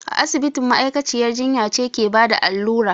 A asibiti ma'aikaciyar jinya ce ke bada allura